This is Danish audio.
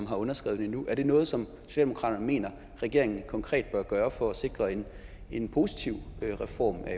har underskrevet den er det noget som socialdemokratiet mener regeringen konkret bør gøre for at sikre en en positiv reform af